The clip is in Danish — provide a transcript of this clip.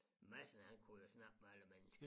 Madsen han kunne jo snakke med alle mennesker